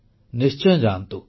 ନିଶ୍ଚୟ ଯାଆନ୍ତୁ